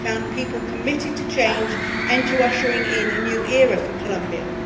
I found people committed to change and to ushering in a new era for Colombia.